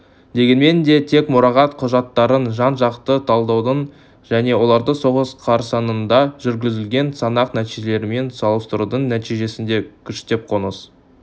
дегенмен де тек мұрағат құжаттарын жан-жақты талдаудың және оларды соғыс қарсаңында жүргізілген санақ нәтижелерімен салыстырудың нәтижесінде күштеп қоныс